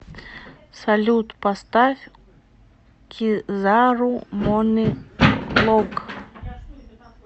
салют поставь кизару мони лонг